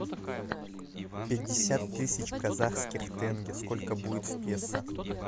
пятьдесят тысяч казахских тенге сколько будет в песо